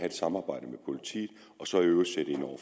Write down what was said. et samarbejde med politiet og så i øvrigt sætte ind over